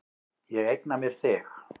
Ég eigna mér þig.